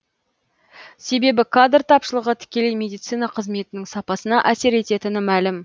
себебі кадр тапшылығы тікелей медицина қызметінің сапасына әсер ететіні мәлім